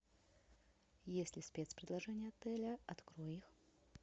есть ли спец предложения отеля открой их